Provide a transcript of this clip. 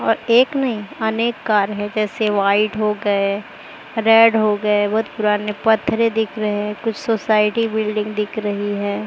और एक नहीं अनेक कार हैं जैसे व्हाइट हो गए रेड हो गए बहोत पुराने पत्थरें दिख रहे हैं कुछ सोसायटी बिल्डिंग दिख रही है।